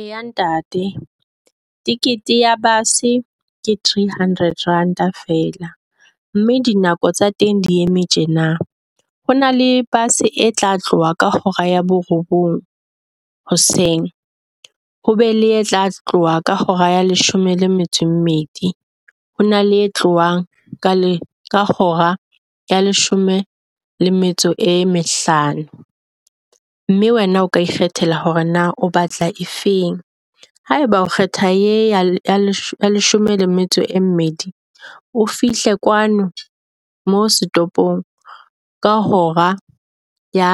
Eya ntate ticket ya base ke three hundred ranta feela mme dinako tsa teng di eme tjena. Ho na le base e tla tloha ka hora ya borobong hoseng, ho be le etla tloha ka hora ya leshome le metso e mmedi. Ho na le e tlohang ka hora ya leshome le metso e mehlano mme wena o ka ikgethela hore na o batla e feng. Haeba o kgetha ye ya leshome le metso e mmedi, o fihle kwano mo setoropong ka hora ya